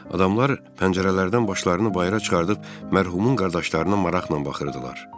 Adamlar pəncərələrdən başlarını bayıra çıxarıb mərhumun qardaşlarına maraqla baxırdılar.